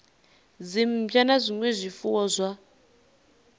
dzimmbwa na zwinwe zwifuwo zwa